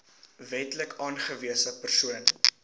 wetlik aangewese persoon